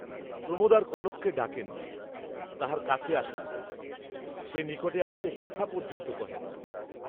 প্রমোদ আর কনককে ডাকেন না, তাহার কাছে আসেন না, সে নিকটে আসিলে কথা পর্যন্ত কহেন না।